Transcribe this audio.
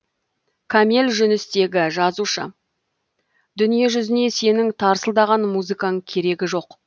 кәмел жүністегі жазушы дүниежүзіне сенің тарсылдаған музыкаң керегі жоқ